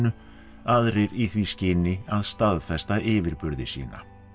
aðrir í því skyni að staðfesta yfirburði sína